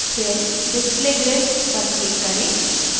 फिर display grid पर click करें